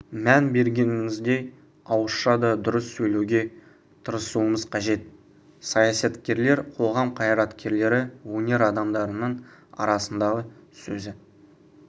мән бергеніміздей ауызша да дұрыс сөйлеуге тырысуымыз қажет саясаткерлер қоғам қайраткерлері өнер адамдарының арасында сөзі